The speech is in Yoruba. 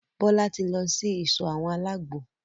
Bọ́lá tí lọ sí ìsọ̀ àwọn àlágbo.